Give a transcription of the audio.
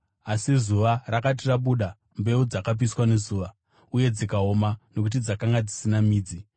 Asi zuva rakati rabuda, mbeu dzakapiswa nezuva, uye dzikaoma nokuti dzakanga dzisina midzi.